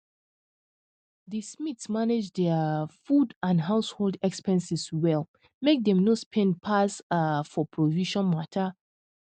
di smiths manage dia um food and household expenses well make dem no spend pass um for provision mata